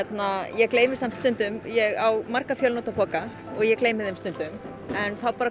ég gleymi samt stundum ég á marga fjönotapoka og ég gleymi þeim stundum en þá